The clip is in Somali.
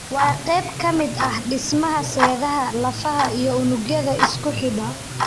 Waa qayb ka mid ah dhismaha seedaha, lafaha, iyo unugyada isku xidha.